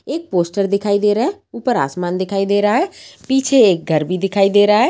एक पोस्टर दिखाई दे रहा है ऊपर आसमान दिखाई दे रहा है पीछे एक घर भी दिखाई दे रहा है।